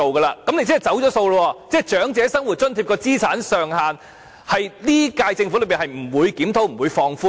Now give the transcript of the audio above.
那麼，你便是"走數"了，即長者生活津貼的資產上限在本屆政府任期內不會檢討和放寬。